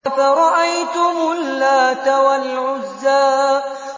أَفَرَأَيْتُمُ اللَّاتَ وَالْعُزَّىٰ